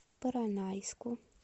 поронайску